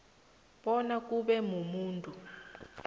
bona kube mumuntu